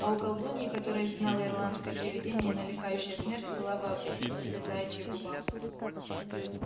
а у колдуньи которая изгнала ирландское привидение накликающее смерть была вообразите себе заячья губа